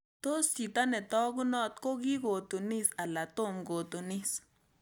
Tos' chito ne taagunot ko kigotunis ala tom kotunis